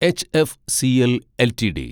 HFCL LTD